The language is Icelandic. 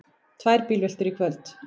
Tvær bílveltur í kvöld